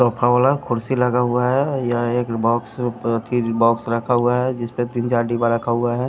Sofa वाला कुर्सी लगा हुआ है यह एक बॉक्स के बॉक्स रखा हुआ है जिसपे तीन चार डिब्बा रखा हुआ है।